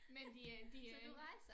Men det er en det er en